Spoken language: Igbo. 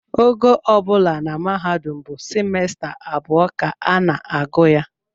Ogo ọ bụla na mahadum bụ simesta abụọ ka a na-agụ ya